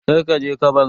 Kar ka je kabarin.